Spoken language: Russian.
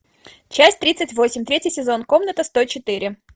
часть тридцать восемь третий сезон комната сто четыре